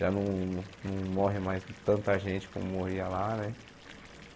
Já não não morre mais tanta gente como morria lá, né?